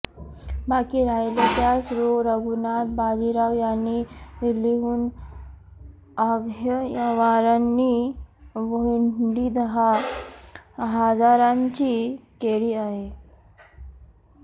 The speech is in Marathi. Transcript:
बाकी राहिले त्यास रो रघुनाथ बाजीराव यांनीं दिल्लीहून आह्मांवरी हुंडी दहा हजारांची केली आहे